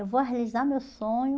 Eu vou realizar meu sonho.